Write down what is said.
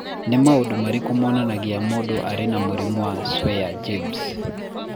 Nĩ maũndũ marĩkũ monanagia atĩ mũndũ arĩ na mũrimũ wa Swyer James?